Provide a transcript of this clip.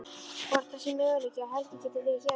Hvort það sé möguleiki að Helgi geti verið hjá.